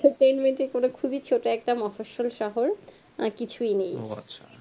ছোট খুবই একটা মহাশোল শহর আর কিছুই নেই